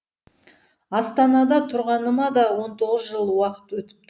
астанада тұрғаныма да он тоғыз жыл уақыт өтіпті